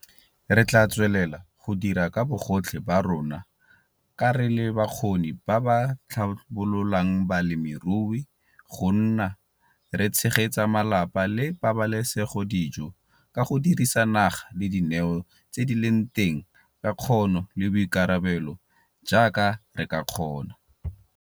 RE TLAA TSWELELA go dira ka bogotlhe ba rona ka re le bakgoni ba ba tlhabololang balemirui go nna re tshegetsa malapa le pabalesegodijo ka go dirisa naga le dineo tse di leng teng ka kgono le boikarabelo jaaka re ka kgona!